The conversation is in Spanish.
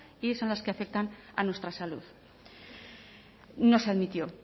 y son las que afectan a nuestra salud no se admitió